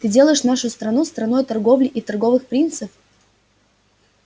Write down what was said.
ты делаешь нашу страну страной торговли и торговых принцев